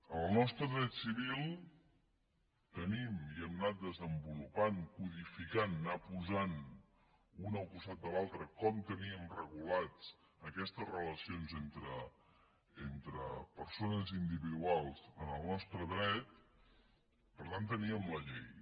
en el nostre dret civil tenim i hem anat desenvolupant codificant anar posant un al costat de l’altre com teníem regulades aquestes relacions entre persones individuals en el nostre dret per tant teníem la llei